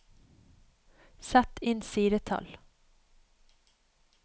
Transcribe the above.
Sett inn sidetall